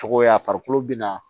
Cogoya farikolo bɛ na